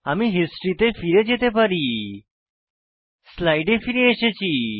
আমি হিস্ট্রি তে ফিরে যেতে পারি স্লাইডে ফিরে এসেছি